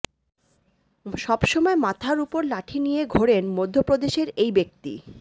সবসময় মাথার উপর লাঠি নিয়ে ঘোরেন মধ্যপ্রদেশের এই ব্যক্তি